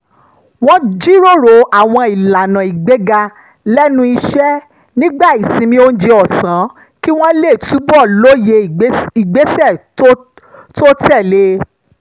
wọ́n jíròrò àwọn ìlànà ìgbéga lẹ́nu iṣẹ́ nígbà ìsinmi oúnjẹ ọ̀sán kí wọ́n lè túbọ̀ lóye ìgbésẹ̀ tó tẹ̀lé e